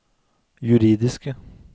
juridiske